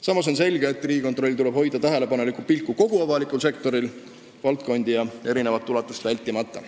Samas on selge, et Riigikontrollil tuleb hoida tähelepanelikku pilku kogu avalikul sektoril, valdkondi ja erinevat ulatust välistamata.